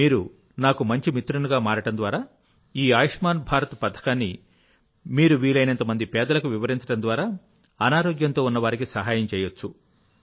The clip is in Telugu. మీరు నాకు మంచి మిత్రునిగా మారడం ద్వారా ఈ ఆయుష్మాన్ భారత్ పథకాన్ని మీకు వీలైనంత మంది పేదలకు వివరించడం ద్వారా మీరు అనారోగ్యంతో ఉన్నవారికి సహాయం చేయవచ్చు